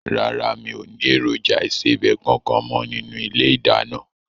Rárá, mi ò ní èròjà ìsebẹ̀ kankan mo nínú ilé ìdáná.